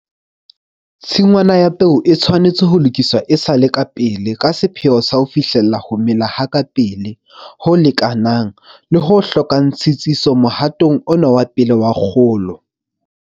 Tshingwana ya peo e tshwanetse ho lokiswa e sa le pele ka sepheo sa ho fihlella ho mela ha kapele, ho lekanang, le ho hlokang tshitsiso mohatong ona wa pele wa kgolo.